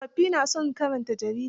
Tsofafgi na son karanta jarida.